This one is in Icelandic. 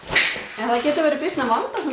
en það getur verið býsna vandasamt